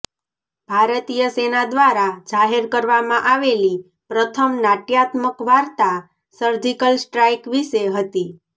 ભારતીય સેના દ્વારા જાહેર કરવામાં આવેલી પ્રથમ નાટ્યાત્મક વાર્તા સર્જિકલ સ્ટ્રાઈક વિશે હતી